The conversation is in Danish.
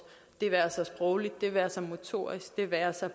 det være sig sprogligt det være sig motorisk det være sig